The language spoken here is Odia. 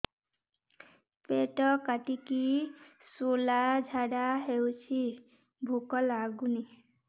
ପେଟ କାଟିକି ଶୂଳା ଝାଡ଼ା ହଉଚି ଭୁକ ଲାଗୁନି